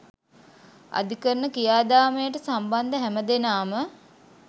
අධිකරණ ක්‍රියාදාමයට සම්බන්ධ හැම දෙනාම